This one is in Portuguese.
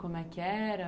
Como é que era?